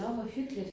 Nåh hvor hyggeligt